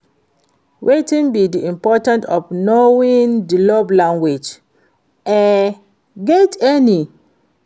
wetin be di importance of knowing di love language, e get any?